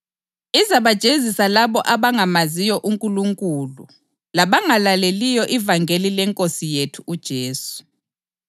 UNkulunkulu ulungile: Uzaphindisela inhlupho kulabo abalihluphayo,